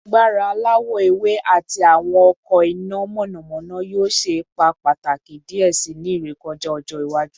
Agbara alawọ ewe ati awọn ọkọ ina mọnamọna yoo ṣe ipa pataki diẹ sii ni irekọja ọjọ iwaju